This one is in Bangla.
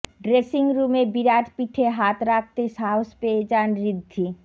ড্রেসিংরুমে বিরাট পিঠে হাত রাখতে সাহস পেয়ে যান ঋদ্ধি